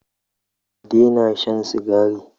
Ka daina shan Sigari